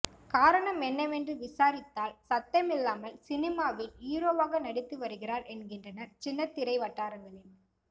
காரணம் என்னவென்று விசாரித்தால் சத்தமில்லாமல் சினிமாவில் ஹீரோவாக நடித்து வருகிறார் என்கின்றனர் சின்னத்திரை வட்டாரங்களில்